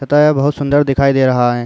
तथा ये बहुत सुंदर दिखाई दे रहा है।